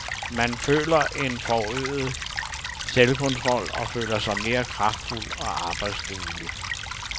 Man føler en forøget selvkontrol og føler sig mere kraftfuld og arbejdsduelig.